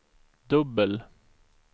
dubbel